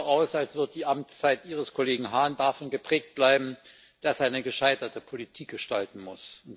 Es sieht so aus, als würde die Amtszeit ihres Kollegen Hahn davon geprägt bleiben, dass er eine gescheiterte Politik gestalten muss.